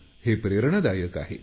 हे प्रेरणादायक आहे